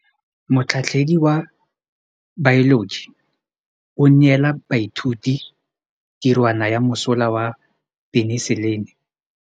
Motlhatlhaledi wa baeloji o neela baithuti tirwana ya mosola wa peniselene.